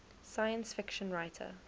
science fiction writer